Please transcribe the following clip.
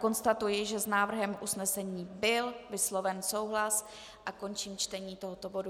Konstatuji, že s návrhem usnesení byl vysloven souhlas, a končím čtení tohoto bodu.